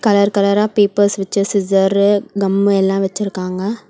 Colour கலரா papers வெச்ச scissor gum எல்லா வச்சிருக்காங்க.